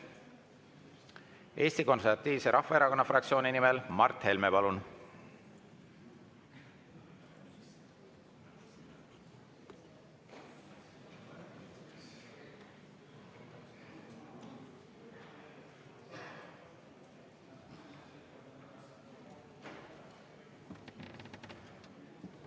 Eesti Konservatiivse Rahvaerakonna fraktsiooni nimel Mart Helme, palun!